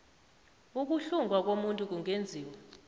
ukuhlungwa komuntu kungenziwa